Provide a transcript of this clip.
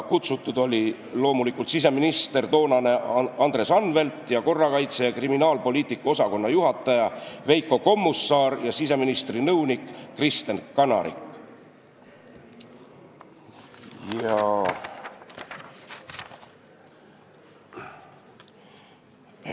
Kutsutud olid loomulikult toonane siseminister Andres Anvelt, korrakaitse- ja kriminaalpoliitika osakonna juhataja Veiko Kommusaar ja siseministri nõunik Kristen Kanarik.